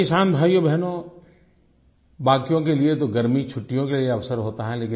मेरे किसान भाइयो और बहनों बाकियों के लिए तो गर्मी छुट्टियों के लिए अवसर रहा है